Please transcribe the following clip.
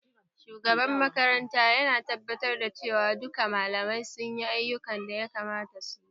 Shugaban makaranta yana tabbatar da cewa duka malamai sunyi ayyukan da ya kamata suyi